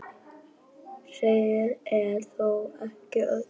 Sagan er þó ekki öll.